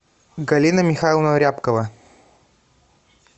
галина михайловна рябкова